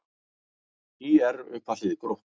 ÍR upp að hlið Gróttu